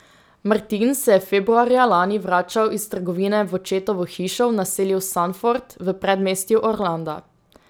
Martin se je februarja lani vračal iz trgovine v očetovo hišo v naselju Sanford v predmestju Orlanda.